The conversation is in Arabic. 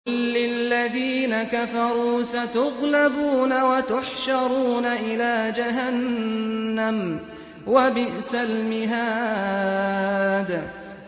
قُل لِّلَّذِينَ كَفَرُوا سَتُغْلَبُونَ وَتُحْشَرُونَ إِلَىٰ جَهَنَّمَ ۚ وَبِئْسَ الْمِهَادُ